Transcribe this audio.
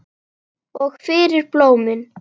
Og fyrir blómin.